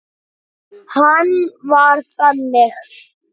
Hann var þannig.